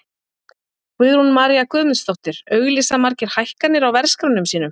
Guðrún María Guðmundsdóttir: Auglýsa margir hækkanir á verðskránum sínum?